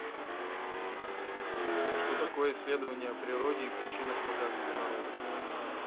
что такое исследование о природе и причинах богатства народов